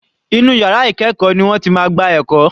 Inú yàrá ìkẹ́ẹ̀kọ́ ni wọ́n ti máa gba ẹ̀kọ́.